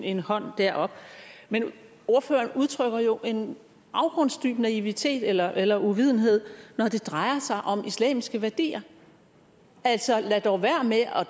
en hånd derop men ordføreren udtrykker jo en afgrundsdyb naivitet eller eller uvidenhed når det drejer sig om islamiske værdier altså lad dog være med at